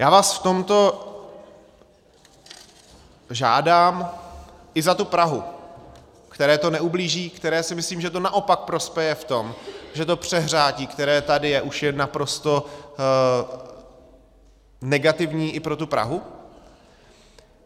Já vás v tomto žádám - i za tu Prahu, které to neublíží, které si myslím, že to naopak prospěje v tom, že to přehřátí, které tady je, už je naprosto negativní i pro tu Prahu.